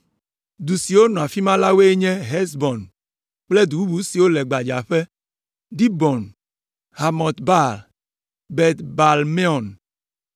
Du siwo nɔ afi ma la woe nye Hesbon kple du bubu siwo le gbadzaƒe: Dibon, Bamɔt Baal, Bet Baal Meon,